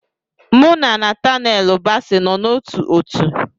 Mụ na Natanelu bási nọ n'ótú òtù